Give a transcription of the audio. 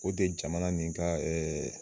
O de jamana mini ka